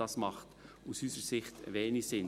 Das macht aus unserer Sicht wenig Sinn.